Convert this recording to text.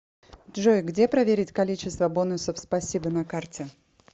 джой где проверить количество бонусов спасибо на карте